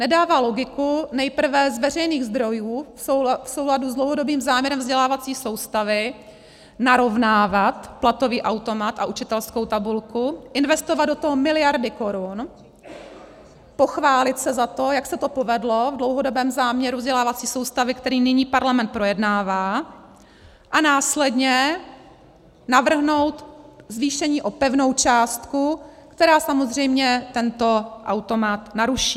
Nedává logiku nejprve z veřejných zdrojů v souladu s dlouhodobým záměrem vzdělávací soustavy narovnávat platový automat a učitelskou tabulku, investovat do toho miliardy korun, pochválit se za to, jak se to povedlo v dlouhodobém záměru vzdělávací soustavy, který nyní parlament projednává, a následně navrhnout zvýšení o pevnou částku, která samozřejmě tento automat naruší.